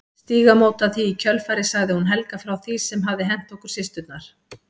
Stígamóta því í kjölfarið sagði hún Helga frá því sem hafði hent okkur systurnar.